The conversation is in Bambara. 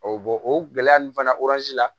o gɛlɛya ninnu fana la